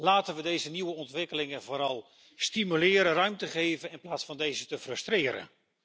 Laten we deze nieuwe ontwikkelingen vooral stimuleren en ruimte geven, in plaats van ze te frustreren.